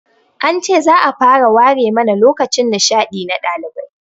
An ce za'a fara ware mana lokacin nishaɗi na ɗalibai